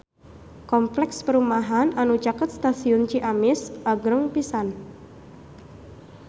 Kompleks perumahan anu caket Stasiun Ciamis agreng pisan